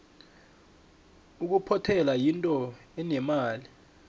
ukuphothela yinto enemali